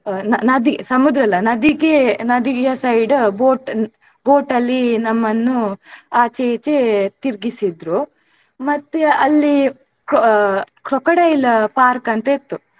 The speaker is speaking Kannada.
ನ~ ನದಿ ಸಮುದ್ರ ಅಲ್ಲ ನದಿಗೇ ನದಿಯ side boat boat ಅಲ್ಲಿ ನಮ್ಮನ್ನು ಆಚೆ ಇಚೆ ತಿರ್ಗಿಸಿದ್ರೂ. ಮತ್ತೆ ಅಲ್ಲಿ cro~ crocodile park ಅಂತ ಇತ್ತು.